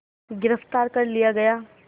गिरफ़्तार कर लिया गया